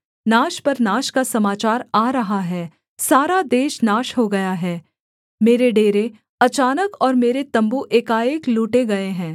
नाश पर नाश का समाचार आ रहा है सारा देश नाश हो गया है मेरे डेरे अचानक और मेरे तम्बू एकाएक लूटे गए हैं